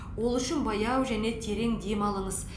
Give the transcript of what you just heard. ол үшін баяу және терең дем алыңыз